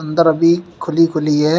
दर भी खुली खुली है।